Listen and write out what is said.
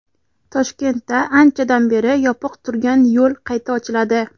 Toshkentda anchadan beri yopiq turgan yo‘l qayta ochiladi.